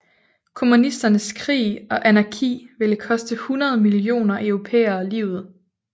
Kommunisternes krig og anarki ville koste 100 millioner europæere livet